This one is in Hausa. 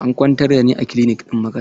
An kwantar da ni a kilinik ɗin makaranta.